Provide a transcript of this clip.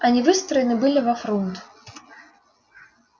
они выстроены были во фрунт